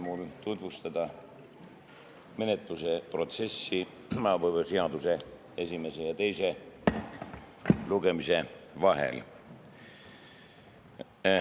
Lubage mul tutvustada menetluse protsessi eelnõu esimese ja teise lugemise vahel.